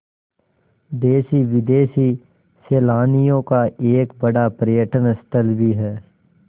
देशी विदेशी सैलानियों का एक बड़ा पर्यटन स्थल भी है